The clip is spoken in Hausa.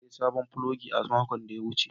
Na sayi sabon filogi a makon da ya wuce.